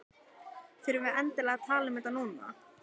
Þurfum við endilega að tala um þetta núna?